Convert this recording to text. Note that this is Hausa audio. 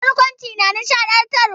Barkwanci na nishaɗantarwa.